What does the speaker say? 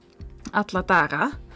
alla daga